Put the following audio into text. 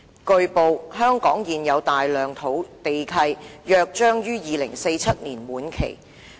"據報，香港現有大量土地契約將於2047年滿期。